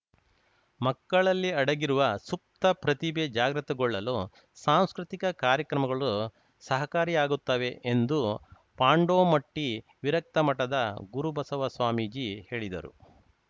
ಮಕ್ಕಳಲ್ಲಿ ಅಡಗಿರುವ ಸುಪ್ತ ಪ್ರತಿಭೆ ಜಾಗೃತಗೊಳ್ಳಲು ಸಾಂಸ್ಕೃತಿಕ ಕಾರ್ಯಕ್ರಮಗಳು ಸಹಕಾರಿಯಾಗುತ್ತವೆ ಎಂದು ಪಾಂಡೋಮಟ್ಟಿವಿರಕ್ತ ಮಠದ ಗುರುಬಸವ ಸ್ವಾಮೀಜಿ ಹೇಳಿದರು